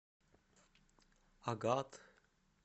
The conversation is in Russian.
агат